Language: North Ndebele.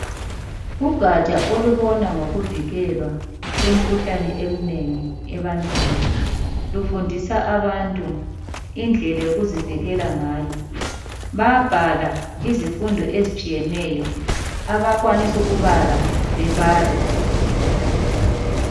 Ugatsha olubona ngokuvikelwa kwemikhuhlane eminengi ebantwini lufundisa abantu indlela yokuzivikela ngayo. Bayabhala izifundo ezitshiyeneyo abakwanisa ukubala bebale.